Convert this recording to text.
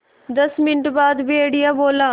दस मिनट बाद भेड़िया बोला